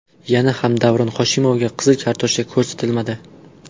Yana ham Davron Hoshimovga qizil kartochka ko‘rsatilmadi.